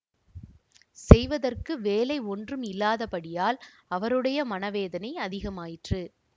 செய்வதற்கு வேலை ஒன்றும் இல்லாதபடியால் அவருடைய மனவேதனை அதிகமாயிற்று